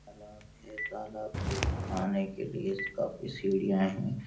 तालाब है तालाब के आने के लिए काफी सीड़ियाँ हैं|